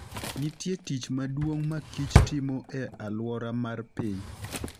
Nitie tich maduong' ma kich timo e alwora mar piny.